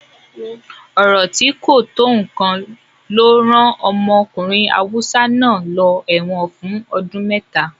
Ọ̀rọ̀ tí kò tó nǹkan ló rán ọmọkùnrin Hausa náà lọ ẹ̀wọ̀n fún ọdún mẹ́ta.